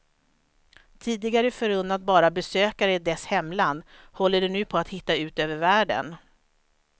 Tidigare förunnat bara besökare i dess hemland håller det nu på att hitta ut över världen.